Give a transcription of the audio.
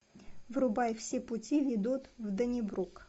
врубай все пути ведут в доннибрук